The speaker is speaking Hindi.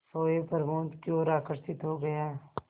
सोए प्रमोद की ओर आकर्षित हो गया